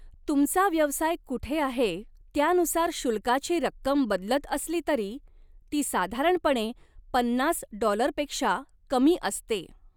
तुमचा व्यवसाय कुठे आहे त्यानुसार शुल्काची रक्कम बदलत असली तरी, ती साधारणपणे पन्नास डॉलर पेक्षा कमी असते.